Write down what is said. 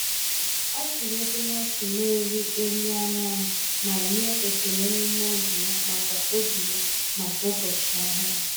Ọ chịrị obere ọchị na ịrị elu anyanwụ ma nye ekele n’ime obi ya maka obi ya maka ụbọchị ọhụrụ.